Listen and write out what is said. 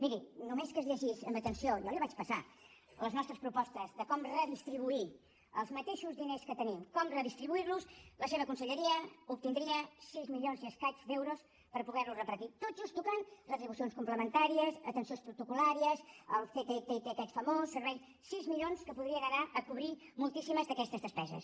miri només que es llegís amb atenció jo l’hi vaig passar les nostres propostes de com redistribuir els mateixos diners que tenim com redistribuir los la seva conselleria obtindria sis milions i escaig d’euros per poder los repartir tot just tocant retribucions complementàries atencions protocol·làries el ctti aquest famós sis milions que podrien anar a cobrir moltíssimes d’aquestes despeses